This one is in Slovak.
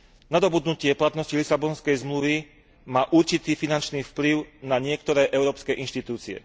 Nadobudnutie platnosti Lisabonskej zmluvy má určitý finančný vplyv na niektoré európske inštitúcie.